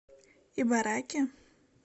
ибараки